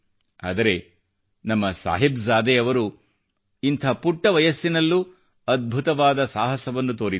ಆದರೆ ನಮ್ಮ ಸಾಹಿಬ್ ಜಾದೆಯವರು ಇಂಥ ಪುಟ್ಟ ವಯಸ್ಸಿನಲ್ಲೂ ಅದ್ಭುತವಾದ ಸಾಹಸವನ್ನು ತೋರಿದರು